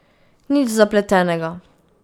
Nič zapletenega.